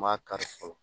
N m'a kari fɔlɔ